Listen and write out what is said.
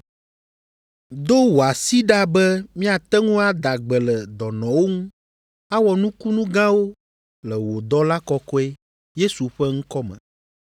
Do wò asi ɖa be míate ŋu ada gbe le dɔnɔwo ŋu, awɔ nukunu gãwo le wò dɔla Kɔkɔe, Yesu, ƒe ŋkɔ me.”